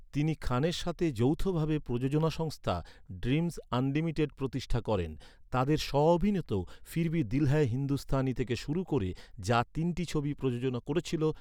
তিনি খানের সাথে যৌথ ভাবে প্রযোজনা সংস্থা, ড্রিমজ আনলিমিটেড প্রতিষ্ঠা করেন। তাদের স্ব অভিনীত ‘ফির ভি দিল হ্যায় হিন্দুস্তানি থেকে শুরু করে যা তিনটি ছবি প্রযোজনা করেছিল।